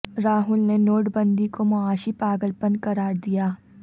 راہل نے نوٹ بندی کو معاشی پاگل پن قرار دیا